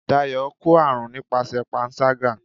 Dayo kọ arún nipasẹ pánṣagá